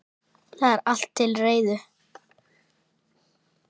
Það er allt til reiðu.